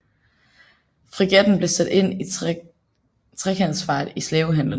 Fregatten blev sat ind i trekantsfart i slavehandelen